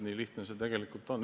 Nii lihtne see tegelikult ongi.